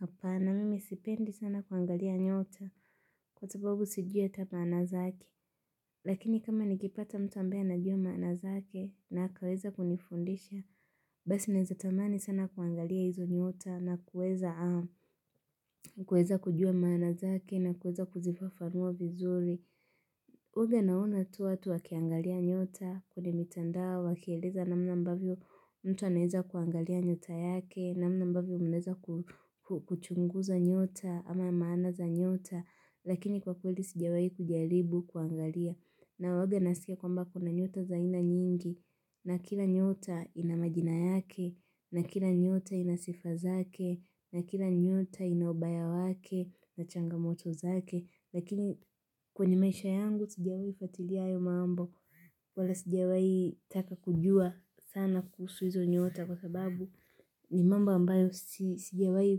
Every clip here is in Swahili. Hapa na mimi sipendi sana kuangalia nyota. Kwa sababu sijua ata maana zake. Lakini kama nikipata mtu ambae na jua maanazake na hakaweza kunifundisha. Basi naweza tamani sana kuangalia hizo nyota na kuweza kujua maanazake na kuweza kuzifafanua vizuri. Uge nauna tu watu wakiangalia nyota kwenye mitandao wa wakieleza na mna mbavyo mtu aneza kuangalia nyota yake na mna mbavyo mneza kuchunguza nyota ama maana za nyota. Lakini kwa kwelisijawai kujalibu kuangalia na uge nasike kwamba kuna nyota za ina nyingi na kila nyota ina majina yake na kila nyota ina sifazake na kila nyota inaubaya wake na changamoto zake. Lakini kwenye maisha yangu sijiwai fatili ayo mambo. Wala sijawai taka kujua sana kusuizo nyota kwa sababu ni mamba ambayo tijia hui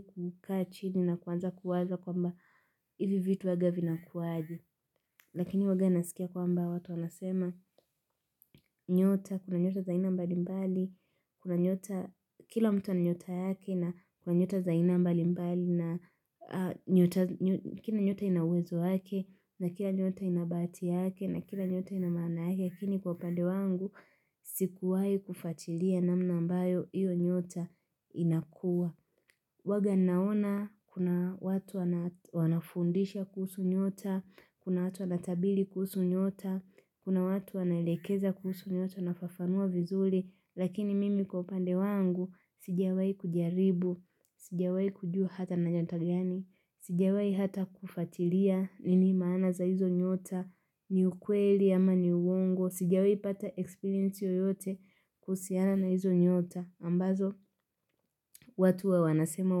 kukaa chidi na kwanza kuwaza kwa mba hivi vitu waga vina kuwaji. Lakini waga nasikia kwa mba watu wanasema nyota kuna nyota za ina mbali mbali kuna nyota kila mtu wana nyota yake na kuna nyota za ina mbali mbali na kina nyota inawezo yake na kina nyota ina batia yake na kina nyota ina maana yake Lakini kwa pande wangu. Sikuwai kufatilia namna mbayo iyo nyota inakua. Waga naona kuna watu wanafundisha kuhusu nyota, kuna watu wana tabili kuhusu nyota, kuna watu wanaelekeza kuhusu nyota nafafanua vizuli. Lakini mimi kwa pande wangu sijawai kujaribu, sijawai kujua hata nanyantagani, sijawai hata kufatilia nini maana za hizo nyota. Ni ukweli ama ni uongo sigawi pata experience yoyote kusiana na hizo nyota ambazo watu wa wanasema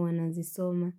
wanazisoma.